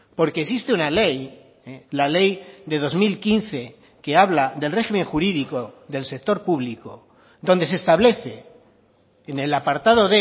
porque existe una ley la ley de dos mil quince que habla del régimen jurídico del sector público donde se establece en el apartado